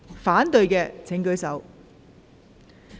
反對的請舉手。